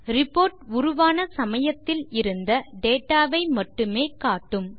report உருவான சமயத்தில் இருந்த டேட்டா வை மட்டுமே காட்டும்